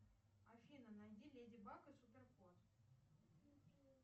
афина найди леди баг и супер кот